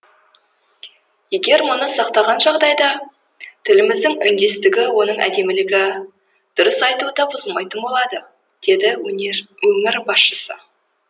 егер мұны сақтаған жағдайда тіліміздің үндестігі оның әдемілігі дұрыс айтуы да бұзылмайтын болады деді өнер басшысы